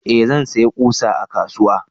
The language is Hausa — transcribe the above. eh zan saya ƙusa a kasuwa